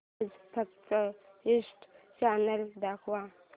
आज फक्त history channel दाखव